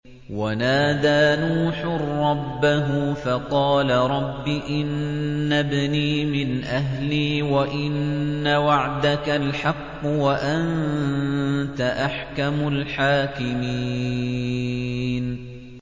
وَنَادَىٰ نُوحٌ رَّبَّهُ فَقَالَ رَبِّ إِنَّ ابْنِي مِنْ أَهْلِي وَإِنَّ وَعْدَكَ الْحَقُّ وَأَنتَ أَحْكَمُ الْحَاكِمِينَ